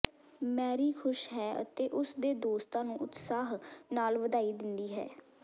Mary ਖੁਸ਼ ਹੈ ਅਤੇ ਉਸ ਦੇ ਦੋਸਤਾਂ ਨੂੰ ਉਤਸ਼ਾਹ ਨਾਲ ਵਧਾਈ ਦਿੰਦੀ ਹੈ